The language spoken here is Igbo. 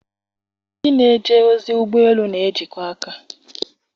Ndị na-eje ozi ụgbọ elu na-ejikọ aka.